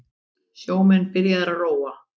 Sjómenn byrjaðir að róa